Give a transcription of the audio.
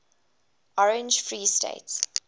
orange free state